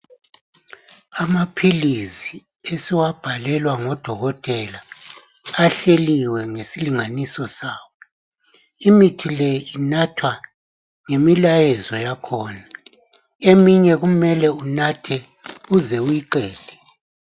Amaphilizi esiwabhalelwa ngodokotela ahleliyo ngesilinganiso sawo, imithi le inathwa ngemilayezo yakhona, eminye kumele unathe uze uyiqede.